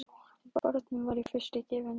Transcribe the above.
Bornum var í fyrstu gefið nafnið